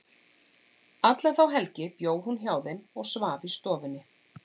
Alla þá helgi bjó hún hjá þeim og svaf í stofunni.